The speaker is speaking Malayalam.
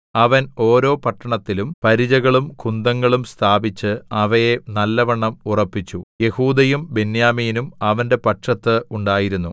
അവൻ ഓരോ പട്ടണത്തിലും പരിചകളും കുന്തങ്ങളും സ്ഥാപിച്ച് അവയെ നല്ലവണ്ണം ഉറപ്പിച്ചു യെഹൂദയും ബെന്യാമീനും അവന്റെ പക്ഷത്ത് ഉണ്ടായിരുന്നു